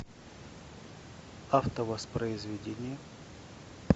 автовоспроизведение